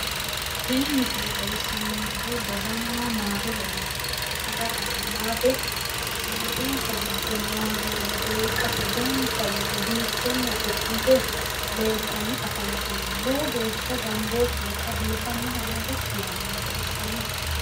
tini misile xawissanonkehu daganna maate lainohunni ikkitanna dagana maate maatensa giddo noo hagiire beeqqate ganba yite biiffenna xu'mmite leeltanni afantanno lowo gaashsha ganbooshshinsa biifannohonna dassi yaannoho baxissanno.